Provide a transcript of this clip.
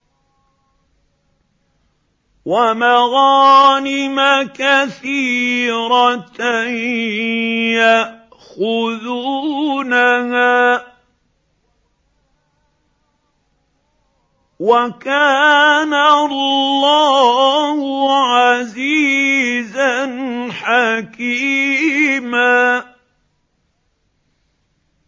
وَمَغَانِمَ كَثِيرَةً يَأْخُذُونَهَا ۗ وَكَانَ اللَّهُ عَزِيزًا حَكِيمًا